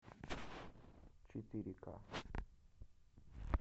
четыре к